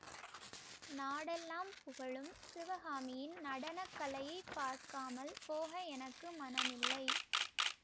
நாடெல்லாம் புகழும் சிவகாமியின் நடன கலையைப் பார்க்காமல் போக எனக்கு மனமில்லை